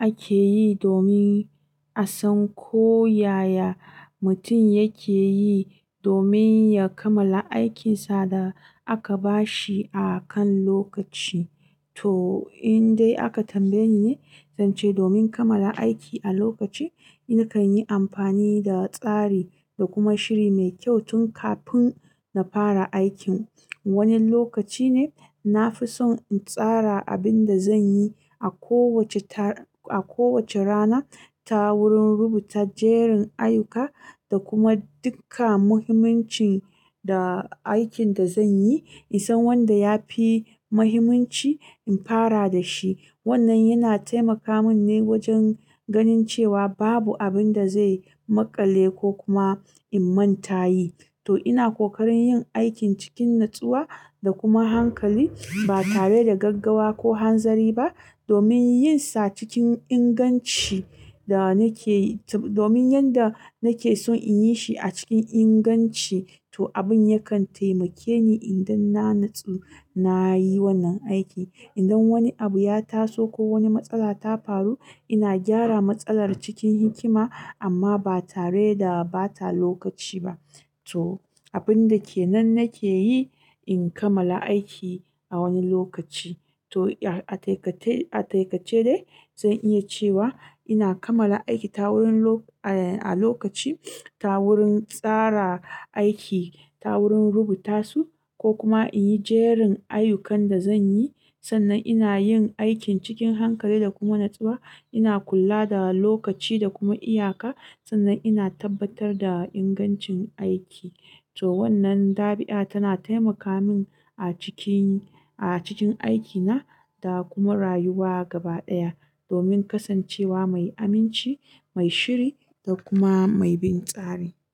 ake yi domin a san ko yaya mutum yake yi domin ya kamala aikinsa da aka ba shi akan lokaci. To in dai aka tambaye ni ne, zance domin kamala aiki a lokaci, nakan yi amfani da tsari da kuma shiri mai kyau tun kafin na fara aikin. Wani lokaci ne na fi son in tsara abin da zan yi a kowace ta-- a kowace rana ta wurin rubuta jerin ayyuka da kuma duka muhimmancin da aikin da zan yi. In san wanda ya fi muhimmanci, in fara da shi. Wannan yana taimaka min ne wajen ganin cewa babu abin da zai maƙale ko kuma in manta yi. To ina kokarin yin aikin cikin natsuwa da kuma hankali ba tare da gaggawa ko hanzari ba domin yin sa cikin inganci da nake-- domin yanda nake son in yi shi a cikin inganci. To abin yakan taimake ni idan na natsu na yi wannan aiki. Idan wani abu ya taso ko wani matsala ta faru, ina gyara matsalar cikin hikima amma ba tare da bata lokaci ba. To abin da ke nan nake yi in kamala aiki a wani lokaci. To a taikace, a taikace dai zan iya cewa ina kamala aiki ta wurin loko-- a lokaci ta wurin tsara aiki ta wurin rubuta su ko kuma in yi jerin ayyukan da zan yi. Sannan ina yin aikin cikin hankali da kuma natsuwa. Ina kula da lokaci da kuma iyaka sannan ina tabbatar da ingancin aiki. To wannan ɗabi'a tana taimaka min a ciki, a cikin aikina da kuma rayuwa gaba ɗaya domin kasancewa mai aminci, mai shiri da kuma mai bin tsari.